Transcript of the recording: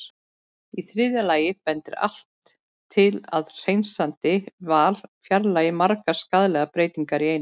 Í þriðja lagi bendir allt til að hreinsandi val fjarlægi margar skaðlegar breytingar í einu.